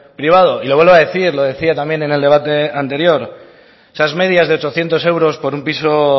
privado y lo vuelvo a decir lo decía también en el debate anterior esas medias de ochocientos euros por un piso